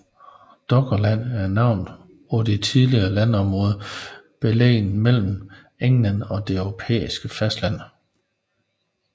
Doggerland er navnet på et tidligere landområde beliggende mellem England og det europæiske fastland